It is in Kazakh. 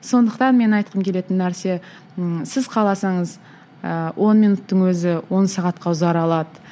сондықтан мен айтқым келетін нәрсе ммм сіз қаласаңыз ыыы он минуттың өзі он сағатқа ұзара алады